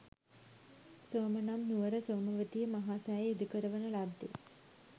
සෝම නම් නුවර සෝමවතිය මහා සෑය ඉදිකරවන ලද්දේ